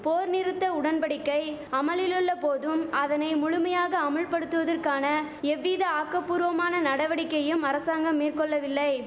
போர் நிறுத்த உடன் படிக்கை அமலிலுள்ள போதும் அதனை முழுமையாக அமுல்படுத்துவதற்கான எவ்வித ஆக்கபூர்வமான நடவடிக்கையும் அரசாங்கம் மேற்கொள்ளவில்லை